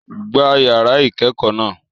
Gbá yàrá ìkẹ́kọ̀ọ́ náà!